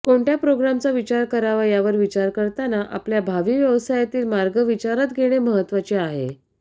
कोणत्या प्रोग्रामचा विचार करावा यावर विचार करताना आपल्या भावी व्यवसायातील मार्ग विचारात घेणे महत्वाचे आहे